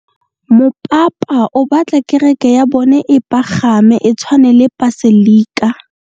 Mopapa o batla kereke ya bone e pagame, e tshwane le paselika.